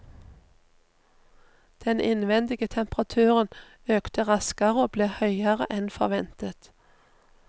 Den innvendige temperaturen økte raskere og ble høyere enn forventet.